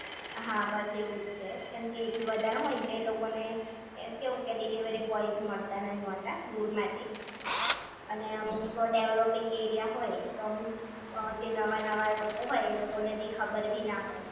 હા બસ એવું જ છે કેમકે એનથી વધારે હોય ને તો એ લોકો ને કેવું કે ડિલિવરી બોય મળતા નહિ હોતા દૂર માટે અને અમુક ડેવલોપીંગ એરિયા હોય તો અમુક જે નવા નવા લોકો હોય એ લોકો એટલી ખબર ભી ના હોય